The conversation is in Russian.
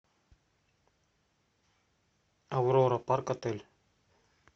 аврора парк отель